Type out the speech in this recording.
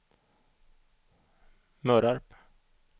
Mörarp